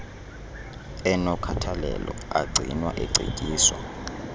enokhathalelo agcinwa ecetyiswa